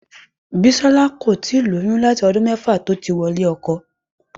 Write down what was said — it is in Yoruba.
Bísóyè kò tíì lóyún láti ọdún mẹ́fà tó ti wọlé ọkọ.